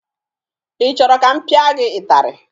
Ị chọrọ ka m pịa gị ịtarị?